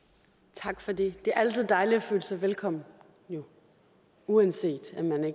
tak for det det er altid dejligt at føle sig velkommen uanset om man